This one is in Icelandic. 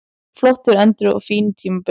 Flottur endir á fínu tímabili